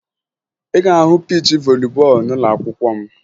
Ị ga-ahụ piichi voli bọọlụ n'ụlọakwụkwọ m